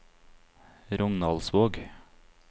Rognaldsvåg